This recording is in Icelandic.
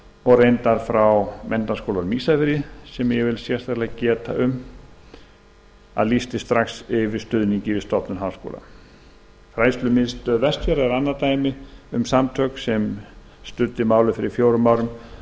og reyndar frá menntaskólanum á ísafirði sem ég vil sérstaklega geta um að lýsti strax yfir stuðningi við stofnun háskóla fræðslumiðstöð vestfjarða er annað dæmi um samtök sem studdu málið fyrir fimm árum